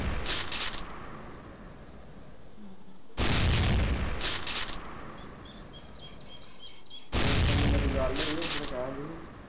ਜਿੱਦਣ ਮੇਰੀ ਗੱਲ ਹੋਈ ਓਦਣ ਕਹਿੰਦੀ ਸੀ